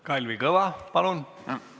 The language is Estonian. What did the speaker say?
Kalvi Kõva, palun!